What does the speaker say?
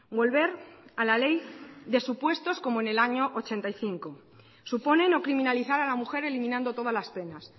volver a la ley de supuestos como en el año mil novecientos ochenta y cinco supone no criminalizar a la mujer eliminando todas las penas